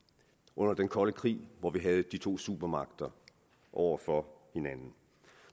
under den kolde krig hvor vi havde de to supermagter over for hinanden